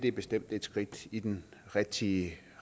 er bestemt et skridt i den rigtige